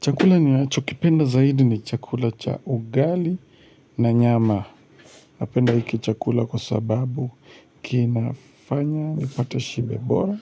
Chakula ninachokipenda zaidi ni chakula cha ugali na nyama. Napenda hiki chakula kwa sababu kinafanya nipate shibe bora.